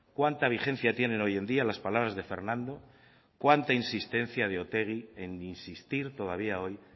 cuánta vigencia tienen hoy en día las palabras de fernando cuánta insistencia de otegi en insistir todavía hoy